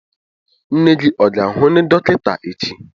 Nne gị ọ ga-ahụ onye dọkịta echi?